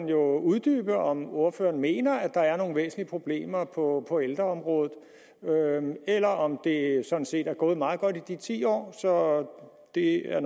jo uddybe om ordføreren mener at der er nogle væsentlige problemer på ældreområdet eller om det sådan set er gået meget godt i de ti år så det er